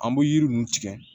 An bɛ yiri ninnu tigɛ